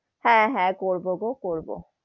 হ্যা হ্যা করবো গো করবো,